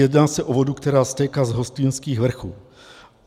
Jedná se o vodu, která stéká z Hostýnských vrchů.